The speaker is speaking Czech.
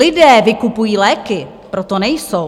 Lidé vykupují léky, proto nejsou.